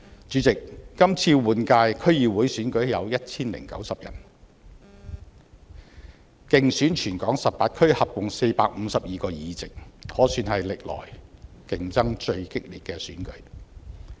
主席，今次換屆區議會選舉有 1,090 位候選人，競逐全港18區合共452個議席，可算是歷來競爭最激烈的選舉。